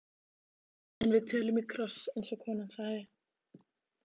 En við tölum í kross, eins og konan sagði.